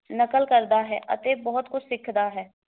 ਨਕਲ ਕਰਦਾ ਹੈ ਅਤੇ ਬਹੁਤ ਕੁਝ ਸਿੱਖਦਾ ਹੈ।